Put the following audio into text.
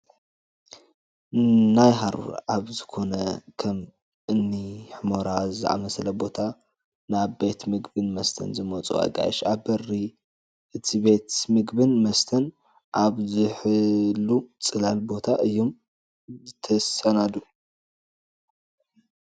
ናይ ሃሩር ኣብ ዝኾነ ከም እኒ ሑመራ ዝኣምሰለ ቦታ ናብ ቤት ምግብን መስተን ዝመፁ ኣጋይሽ ኣብ በሪ እቲ ቤት ምግብን መስተን ኣብ ዝሕሉ ፅላል ቦታ እዮም ዝስተኣናገዱ፡፡